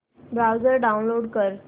browser download कर